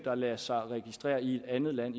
at lade sig registrere i et andet land